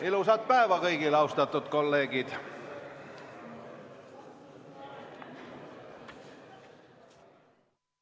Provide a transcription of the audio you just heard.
Ilusat päeva kõigile, austatud kolleegid!